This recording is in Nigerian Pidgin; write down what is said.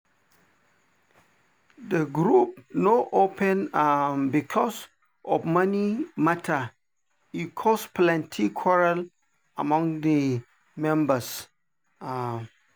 the group no open um because of money matter e cause plenty quarrel among the members. um